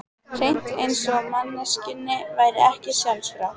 Hreint eins og manneskjunni væri ekki sjálfrátt.